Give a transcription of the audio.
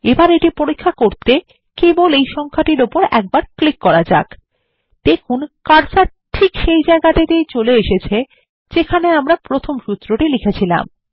এবার এটি পরীক্ষা করতে কেবল এই সংখ্যাটির উপর ক্লিক করা যাক দেখুন কার্সার ঠিক সেই জায়গায় চলে এসেছে যেখানে আমরা প্রথম সূত্রটি লিখেছিলাম